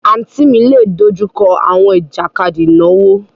Àǹtí mi lè dojú kọ àwọn ìjàkadì ìnáwó.